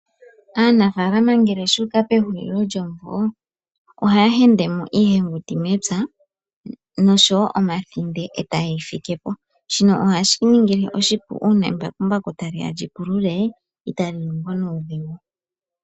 Aanafaalama ngele shu uka pehulilo lyomvula ohaya hendemo iihenguti mepya noshowo omathinde e tayeyi fikepo, shino oha shi ya ningile oshipu uuna embakumbaku taliya lipulule otali longo nuudhigu.